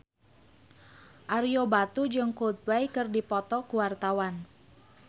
Ario Batu jeung Coldplay keur dipoto ku wartawan